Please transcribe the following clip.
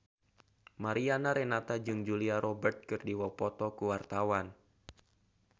Mariana Renata jeung Julia Robert keur dipoto ku wartawan